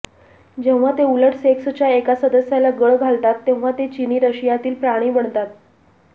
जेव्हा ते उलट सेक्सच्या एका सदस्याला गळ घालतात तेव्हा ते चीनी रशियातील प्राणी बनतात